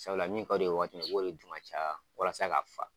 Sabula min ka di o ye wagati min o b'o de dun ka caya walasa ka fa.